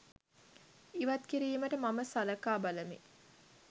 ඉවත් කිරීමට මම සලකා බලමි